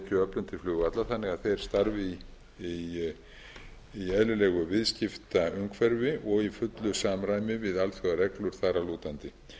tekjuöflun til flugvalla þannig að þeir starfi í eðlilegu viðskiptaumhverfi og í fullu samræmi við alþjóðareglur þar að lútandi